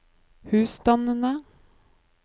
husstandene